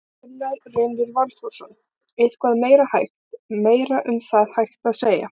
Gunnar Reynir Valþórsson: Eitthvað meira hægt, meira um það hægt að segja?